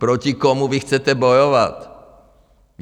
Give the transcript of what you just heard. Proti komu vy chcete bojovat?